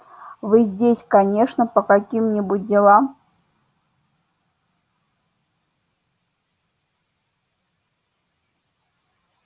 вы здесь конечно по каким-нибудь делам